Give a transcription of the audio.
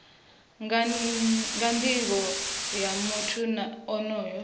nga nivho ya muthu onoyo